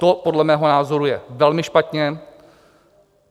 To podle mého názoru je velmi špatně.